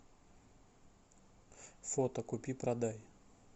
фото купи продай